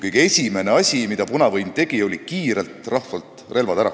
Kõige esimene asi, mida punavõim tegi, oli see, et ta kiirelt korjas rahvalt relvad ära.